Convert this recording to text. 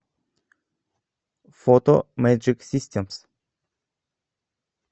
фото мэджик системс